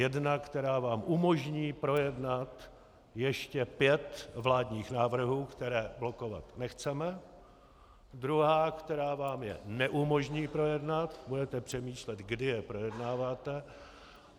Jedna, která vám umožní projednat ještě pět vládních návrhů, které blokovat nechceme, druhá, která vám je neumožní projednat, budete přemýšlet, kdy je projednáte.